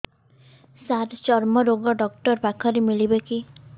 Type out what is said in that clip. ସାର ଚର୍ମରୋଗ ଡକ୍ଟର ପାଖରେ ମିଳିବେ କି